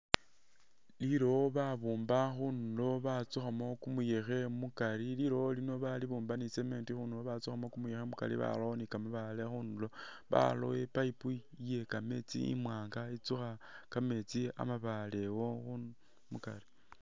Liliwo babumba khundulo batsukhaamo kumuyekhe mukaari, lilowo ilino balibumba ne cement, khundulo batsukhamo kumuyekhe mukaari barawo ne kamabaale khundulo, baraawo i'pipe iye kameetsi imwanga itsukha kameetsi amabaale awo khumbi ne mukaari.